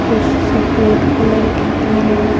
कुछ सफेद कलर के कारण--